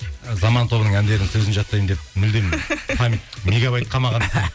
ы заман тобының әндерінің сөзін жаттаймын деп мүлдем память мегабайт қалмаған